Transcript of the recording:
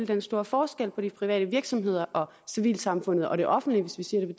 den store forskel på de private virksomheder og civilsamfundet og det offentlige hvis vi siger det